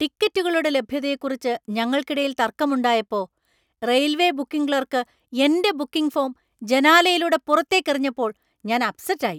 ടിക്കറ്റുകളുടെ ലഭ്യതയെക്കുറിച്ച് ഞങ്ങൾക്കിടയിൽ തർക്കമുണ്ടായപ്പോ റെയിൽവേ ബുക്കിംഗ് ക്ലാർക്ക് എന്‍റെ ബുക്കിംഗ് ഫോം ജനാലയിലൂടെ പുറത്തേക്ക് എറിഞ്ഞപ്പോൾ ഞാൻ അപ്‌സെറ്റ് ആയി .